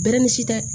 Bɛrɛ ni si tɛ